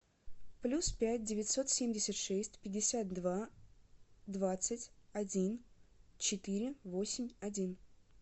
плюс пять девятьсот семьдесят шесть пятьдесят два двадцать один четыре восемь один